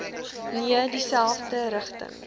nee dieselfde rigting